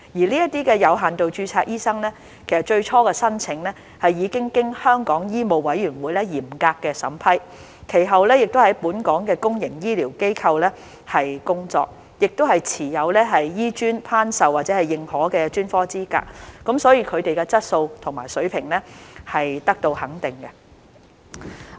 這些有限度註冊醫生，最初的申請其實已經經香港醫務委員會嚴格審批，其後亦在本港的公共醫療機構工作，亦持有香港醫學專科學院頒授或認可的專科資格，所以他們的質素和水平是得到肯定的。